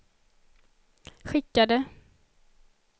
skickade